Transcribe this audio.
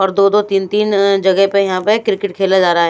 और दो दो तीन तीन अःजगह पे यहां पे क्रिकेट खेला जा रहा ।